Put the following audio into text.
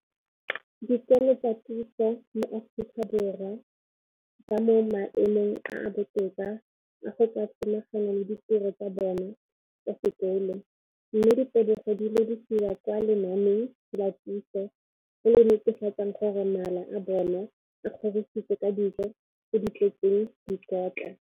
Dikolo tsa puso mo Aforika Borwa ba mo maemong a a botoka a go ka samagana le ditiro tsa bona tsa sekolo, mme ditebogo di lebisiwa kwa lenaaneng la puso le le netefatsang gore mala a bona a kgorisitswe ka dijo tse di tletseng dikotla.